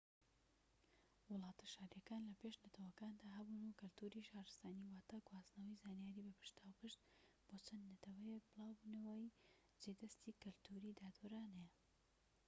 وڵاتە شاریەکان لە پێش نەتەوەکاندا هەبوون کەلتوری شارستانی واتە گواستنەوەی زانیاری بە پشتاوپشت بۆ چەند نەوەیەك بڵاوبوونەوەی جێ دەستی کەلتوریی دادوەرانە